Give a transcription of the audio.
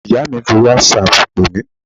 Ìyá mi fi whatsapp pè mí